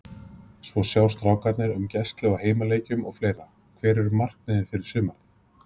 Svo sjá strákarnir um gæslu á heimaleikjum og fleira Hver eru markmiðin fyrir sumarið?